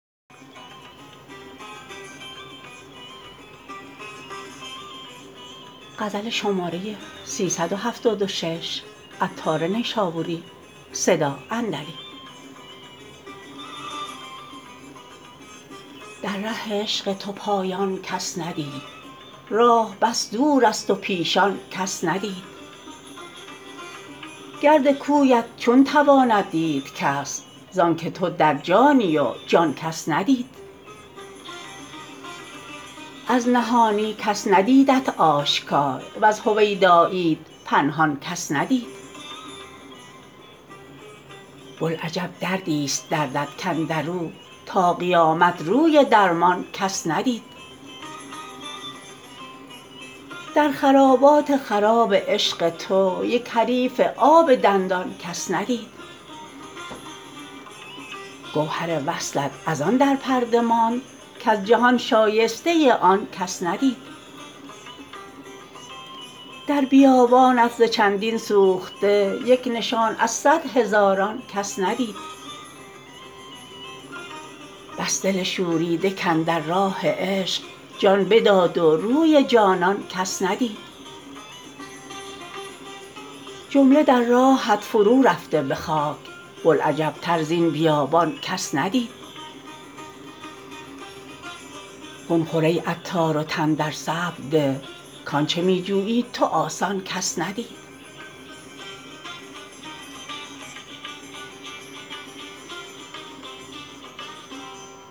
در ره عشق تو پایان کس ندید راه بس دور است و پیشان کس ندید گرد کویت چون تواند دید کس زانکه تو در جانی و جان کس ندید از نهانی کس ندیدت آشکار وز هویداییت پنهان کس ندید بلعجب دردی است دردت کاندرو تا قیامت روی درمان کس ندید در خرابات خراب عشق تو یک حریف آب دندان کس ندید گوهر وصلت از آن در پرده ماند کز جهان شایسته آن کس ندید در بیابانت ز چندین سوخته یک نشان از صد هزاران کس ندید بس دل شوریده کاندر راه عشق جان بداد و روی جانان کس ندید جمله در راهت فرو رفته به خاک بوالعجب تر زین بیابان کس ندید خون خور ای عطار و تن در صبر ده کانچه می جویی تو آسان کس ندید